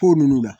Ko nunnu na